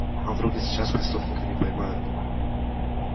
а вдруг и сейчас преступника не поймают